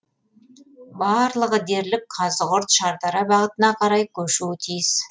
барлығы дерлік қазығұрт шардара бағытына қарай көшуі тиіс